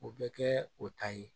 O bɛ kɛ o ta ye